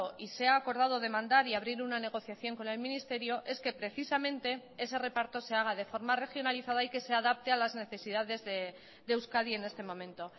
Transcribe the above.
y se ha acordado demandar y abrir una negociación con el ministerio es que precisamente ese reparto se haga de forma regionalizada y que se adapte a las necesidades de euskadi en este momento